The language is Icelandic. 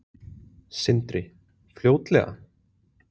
Sindri: Fljótlega?